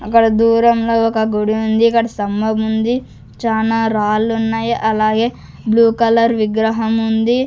అక్కడ దూరంగా ఒక గుడి ఉంది ఇక్కడ స్తంభం ఉంది చానా రాళ్ళు ఉన్నాయి అలాగే బ్లూ కలర్ విగ్రహం ఉంది.